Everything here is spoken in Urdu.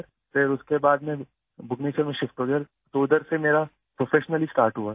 پھر اس کے بعد بھونیشور شفٹ ہوا تو وہاں سے میرا پیشہ ورانہ آغاز ہوا